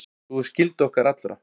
Sú er skylda okkar allra.